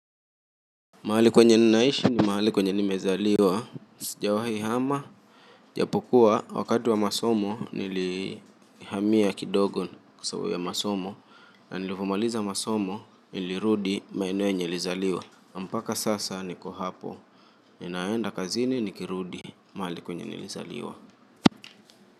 Mahali kwenye ninaishi ni mahali kwenye nimezaliwa. Sijawahi hama ijapokuwa wakati wa masomo, nilihamia kidogo kwa sababu ya masomo. Na nilivyomaliza masomo, nilirudi maeneo yenye nilizaliwa. Mpaka sasa niko hapo, ninaenda kazini nikirudi mahali kwenye nilizaliwa.